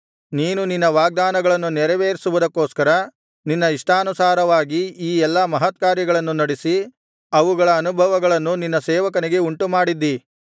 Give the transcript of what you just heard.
ನೀನು ನಿನ್ನ ವಾಗ್ದಾನಗಳನ್ನು ನೆರವೇರಿಸುವುದಕ್ಕೋಸ್ಕರ ನಿನ್ನ ಇಷ್ಟಾನುಸಾರವಾಗಿ ಈ ಎಲ್ಲಾ ಮಹತ್ಕಾರ್ಯಗಳನ್ನು ನಡಿಸಿ ಅವುಗಳ ಅನುಭವಗಳನ್ನು ನಿನ್ನ ಸೇವಕನಿಗೆ ಉಂಟುಮಾಡದ್ದೀ